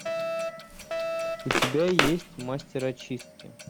у тебя есть мастер очистки